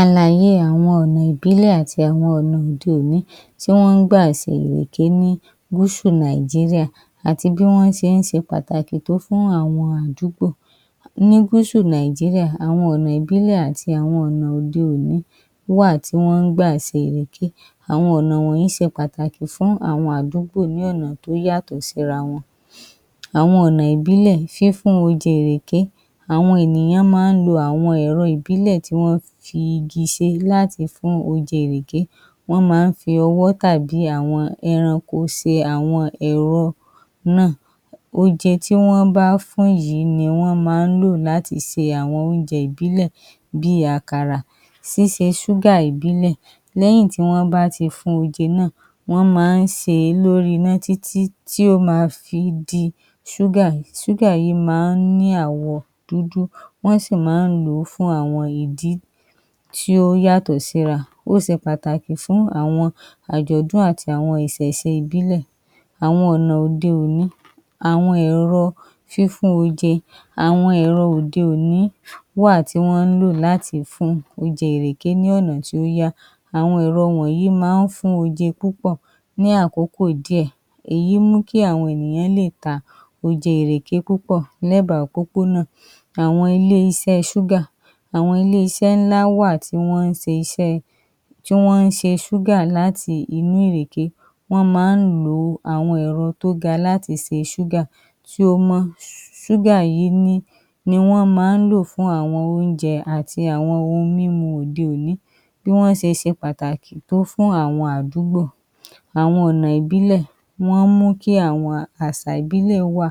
Àlàyée àwọn ọ́ná ìbílẹ̀ àti àwọn ọ́ná òde òni ti wọ́n gbà ṣe ìrèké ní gúsù Nàìjíríà àti bí wọ́n ṣe ń ṣe pàtàkì tó fún àwọn àdúgbò. Ní gúsù Nàìjíríà, àwọn ọ̀nà ìbílẹ̀ àti àwọn ọ̀nà òde òní wáà tí wọ́n gbà ṣe ìrèké. Àwọn ọ̀nà yí ṣe pataki fún àwọn àdúgbò ní ọ̀nà tí ó yatọ̀ sí ra wọn. Àwọn ọ̀nà ìbílẹ̀ fífún oje ìrèké, àwọn ènìyàn ma ń lo àwọn èrọ ìbílẹ̀ tí wọ́n fi igi ṣe láti fún oje ìrèké, wọ́n ma ń fi ọwọ́ tàbí àwọn ẹranko ṣe àwọn ẹ̀ro náà, oúnjẹ tí wọ́n bá fún yìí ni wọ́n má ń lò láti ṣe àwọn oúnjẹ ìbílẹ̀ bíi àkàrà, ṣíṣe sugar ìbílẹ̀ lẹ́yìn tí wọ́n bá ti fún oje náà, wọ́n ma sèé lóri iná tí tí tí ó ma fi di sugar, sugar yí ma ń ní àwọ̀ dúdú, wọ́n sì má ń lòó fún àwọn ìdí tí ó yàtọ̀ sí ra, ó ṣe pàtàkì fún àwọn àjọ̀dún àti àwọn ìṣẹ̀ṣe ìbílẹ̀. Àwọn ọ̀nà òde òni, àwọn èrọ fífún oje, àwọn èrọ òde òni wáà tí wọ́n lò fún láti fún oje ìrèké ní ọ̀nà tí ó yá, àwọn ẹ̀ro wọ̀nyí má ń fún oje púpọ̀ ní àkókò díè, èyí mú kí àwọn ènìyàn lè ta oúnjẹ ìrèké púpọ̀ lẹ́bàa pópó nà. Àwọn ilé-iṣẹ́ sugar, àwọn ilé-iṣẹ́ ńlá wà tí wọ́n ṣe iṣẹ́, tí wọ́n ṣe suagar láti inú ìrèké, wọ́n ma ń lo àwọn ẹ̀rọ tí ó ga láti ṣe sugar tí ó mọ́, sugar yí ni, ni wọ́n ma ń lò fún àwọn oúnjẹ àti àwọn oun mímu òde òni, bí wọ́n ṣe ṣe pàtàkì tó fún àwọn àdúgbò, àwọn ọ̀nà ìbílẹ̀, ma ń mú kí àwọn àṣà ìbílẹ̀ wà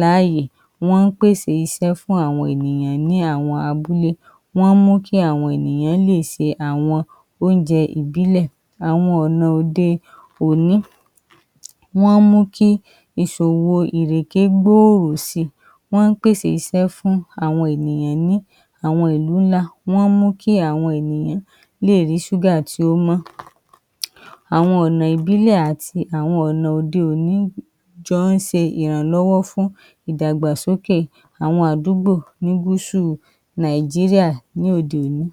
láàyè, ma ń pèsè iṣẹ́ fún àwọn ènìyàn ní àwọn abúlé, ma ń mú kí àwọn ènìyán lè ṣe àwọn oúnjẹ ìbílẹ̀. Àwọn ọ̀nà òde oni ma ń mú kí ìṣòwo ìrèké gbòòrò si, ma ń pèsè iṣẹ́ fún àwọn ènìyàn ní àwọn ìlú ńlá, ma ń mú kí àwọn ènìyán lè rí sugar tí ó mọ́. Àwọn ọ̀nà ìbílẹ̀ àti àwọn ọ̀nà òde òni jọ ń ṣe ìrànlọ́wọ́ fún ìdàgbàsókè àwọn àdúgbò ní gúsù Nàìjíríà ní òde òní.